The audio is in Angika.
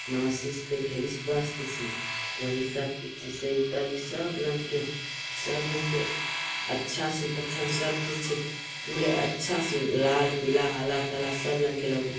वही सब सब रंग के सब रंग के अच्छा से अच्छा सब चीज़ के अच्छा से लाल हरा पीला --